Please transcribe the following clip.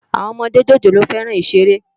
Awòn òmòdé jójólóò fèrán iṣéré